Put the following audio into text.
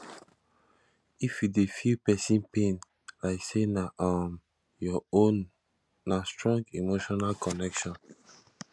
if you dey feel pesin pain like sey na um your own na strong emotional connection